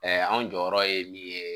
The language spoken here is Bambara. Ɛ anw jɔyɔrɔ ye min ye